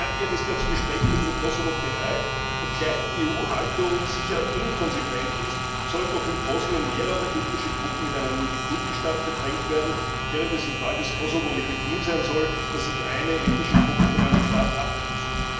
Serbien ist ja zu Gesprächen mit dem Kosovo bereit, obgleich die EU Haltung sicher inkonsequent ist, sollen doch in Bosnien mehrere ethnische Gruppen in einen Multikulti Staat gedrängt werden, während es im Fall des Kosovo legitim sein soll, dass sich eine ethnische Gruppe von einem Staat ablöst.